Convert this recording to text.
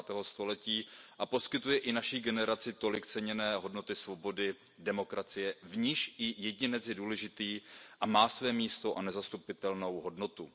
20. století, poskytuje i naší generaci tolik ceněné hodnoty svobody, demokracie, v níž i jedinec je důležitý a má své místo a nezastupitelnou hodnotu.